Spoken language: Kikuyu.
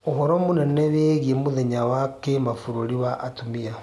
uhoro munene wigie mũthenya wa kibururi wa atumia